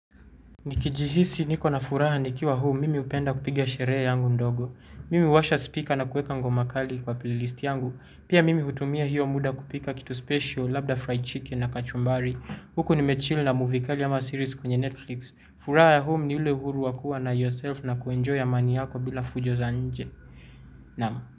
Nikijihisi niko na furaha nikiwa home mimi hupenda kupiga sherehe yangu ndogo. Mimi huwasha speaker na kuweka ngoma kali kwa playlist yangu. Pia mimi hutumia hiyo muda kupika kitu special, labda fried chicken na kachumbari huko nime cheel na movie kali ama series kwenye Netflix. Furaha ya home ni ule uhuru wa kua na yourself na ku enjoy amani yako bila fujo za nje. Nam.